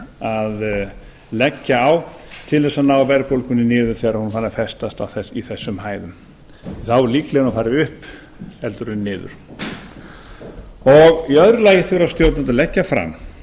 að leggja á til þess að ná verðbólgunni niður þegar hún er farin að festast í þessum hæðum þá er líklegra að hún fari upp heldur en niður í að lagi þurfa stjórnvöld